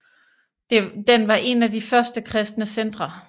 Den var en af de første kristne centre